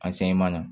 A sɛmɛn na